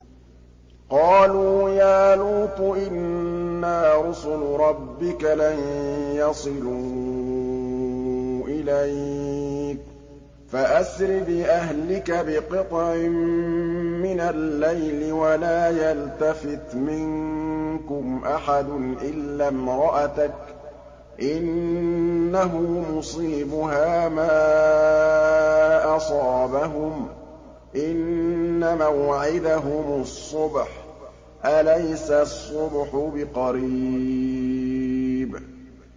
قَالُوا يَا لُوطُ إِنَّا رُسُلُ رَبِّكَ لَن يَصِلُوا إِلَيْكَ ۖ فَأَسْرِ بِأَهْلِكَ بِقِطْعٍ مِّنَ اللَّيْلِ وَلَا يَلْتَفِتْ مِنكُمْ أَحَدٌ إِلَّا امْرَأَتَكَ ۖ إِنَّهُ مُصِيبُهَا مَا أَصَابَهُمْ ۚ إِنَّ مَوْعِدَهُمُ الصُّبْحُ ۚ أَلَيْسَ الصُّبْحُ بِقَرِيبٍ